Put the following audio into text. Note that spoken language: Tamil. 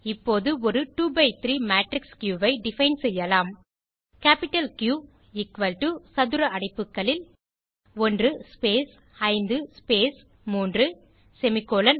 இப்போது ஒரு 2 பை 3 மேட்ரிக்ஸ் கியூ ஐ டிஃபைன் செய்யலாம் கேப்பிட்டல் கியூ எக்குவல் டோ சதுர அடைப்புகளில் 1 ஸ்பேஸ் 5 ஸ்பேஸ் 3 செமிகோலன்